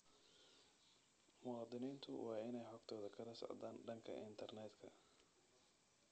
Muwaadiniintu waa in ay xogtooda kala socdaan dhanka internetka.